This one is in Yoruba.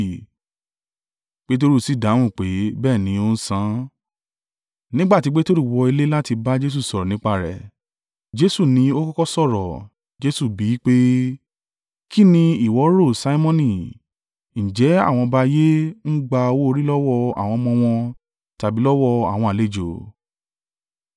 Peteru sì dáhùn pé, “Bẹ́ẹ̀ ni, ó ń san.” Nígbà tí Peteru wọ ilé láti bá Jesu sọ̀rọ̀ nípa rẹ̀, Jesu ni ó kọ́kọ́ sọ̀rọ̀, Jesu bí i pé, “Kí ni ìwọ rò, Simoni? Ǹjẹ́ àwọn ọba ayé ń gba owó orí lọ́wọ́ àwọn ọmọ wọn tàbí lọ́wọ́ àwọn àlejò?”